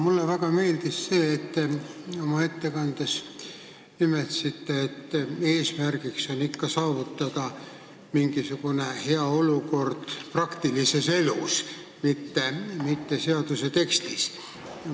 Mulle väga meeldis see, et te oma ettekandes nimetasite, et eesmärk on ikka saavutada hea olukord praktilises elus, mitte seaduse tekstis.